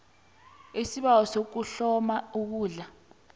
isibawo sokuhloma ikundla